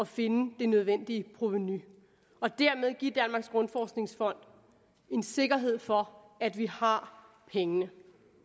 finde det nødvendige provenu og dermed give danmarks grundforskningsfond en sikkerhed for at vi har pengene